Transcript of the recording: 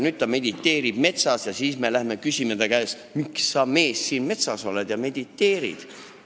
Ta mediteerib nüüd metsas ning meie läheme siis ja küsime ta käest: "Miks sa, mees, siin metsas oled ja mediteerid?